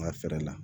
N ga fɛɛrɛ la